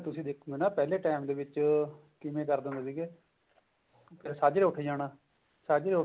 ਤੁਸੀਂ ਦੇਖੋ ਨਾ ਪਹਿਲੇ time ਦੇ ਵਿੱਚ ਕਿਵੇਂ ਕਰਦੇ ਹੁੰਦੇ ਸੀਗੇ ਸਾਝਰੇ ਉੱਠ ਜਾਣਾ ਸਾਝਰੇ